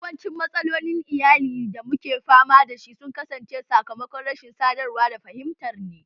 Yawancin matsalolin iyali da muke fama da su sun kasance sakamakon rashin sadarwa da fahimtar ne